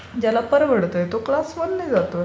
ज्याला परवडते, तो क्लास वनने जातो.